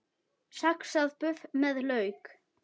Saxað buff með lauk